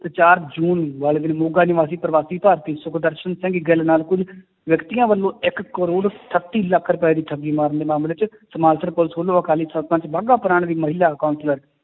ਤੇ ਚਾਰ ਜੂਨ ਵਾਲੇ ਦਿਨ ਮੋਗਾ ਨਿਵਾਸੀ ਪ੍ਰਵਾਸੀ ਭਾਰਤੀ ਸੁਖਦਰਸ਼ਨ ਸਿੰਘ ਗਿੱਲ ਨਾਲ ਕੁੱਝ ਵਿਅਕਤੀਆਂ ਵੱਲੋਂ ਇੱਕ ਕਰੌੜ ਅਠੱਤੀ ਲੱਖ ਰੁਪਏ ਦੀ ਠੱਗੀ ਮਾਰਨ ਦੇ ਮਾਮਲੇ 'ਚ ਪੁਲਿਸ ਵੱਲੋਂ ਅਕਾਲੀ ਸਰਪੰਚ ਬਾਗਾ ਪੁਰਾਣ ਦੀ ਮਹਿਲਾ counselor